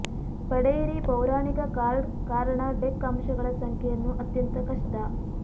ಪಡೆಯಿರಿ ಪೌರಾಣಿಕ ಕಾರ್ಡ್ ಕಾರಣ ಡೆಕ್ ಅಂಶಗಳ ಸಂಖ್ಯೆಯನ್ನು ಅತ್ಯಂತ ಕಷ್ಟ